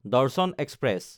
দৰ্শন এক্সপ্ৰেছ